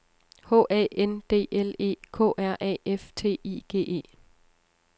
H A N D L E K R A F T I G E